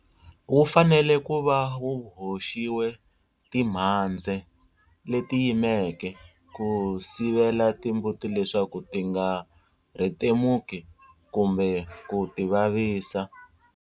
Wu fanele ku va wu hoxiwe timhandze leti yimeke ku sivela timbuti leswaku ti nga rhetemuki kumbe ku tivavisa.